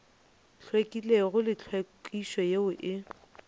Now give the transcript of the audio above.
hlwekilego le tlhwekišo yeo e